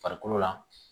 Farikolo la